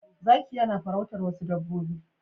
Zakiyanafarautar wasu dabbobbi